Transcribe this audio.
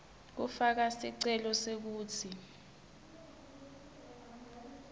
kufaka sicelo sekutsi